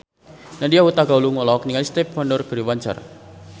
Nadya Hutagalung olohok ningali Stevie Wonder keur diwawancara